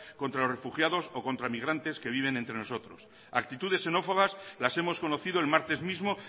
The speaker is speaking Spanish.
contra los refugiados o contra migrantes que viven entre nosotros actitudes xenófobas las hemos conocido el martes mismo